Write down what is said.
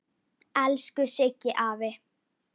Elsku Siggi afi.